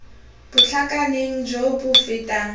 bo tlhakaneng jo bo fetang